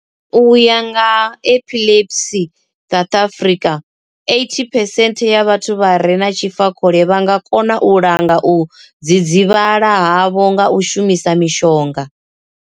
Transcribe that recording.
U ya nga vha Epilepsy South Africa, 80 percent ya vhathu vha re na tshifakhole vha nga kona u langa u dzidzivhala havho nga u shumisa mishonga.